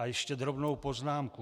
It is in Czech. A ještě drobnou poznámku.